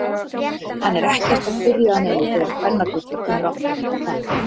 Hann er ekkert að spyrja að neinu þegar kvennagullið kemur aftur, hvað.